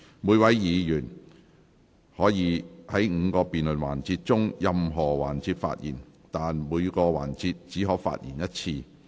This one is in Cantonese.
每位議員可在5個辯論環節中的任何環節發言，但在每個環節只可發言一次。